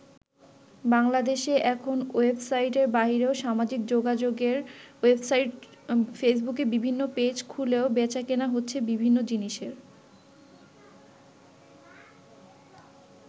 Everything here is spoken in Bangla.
বাংলাদেশে এখন ওয়েবসাইটের বাইরেও সামাজিক যোগাযোগের ওয়েবসাইট ফেসবুকে বিভিন্ন পেজ খুলেও বেচাকেনা হচ্ছে বিভিন্ন জিনিসের।